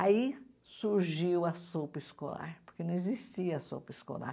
Aí surgiu a sopa escolar, porque não existia sopa escolar.